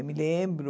Eu me lembro...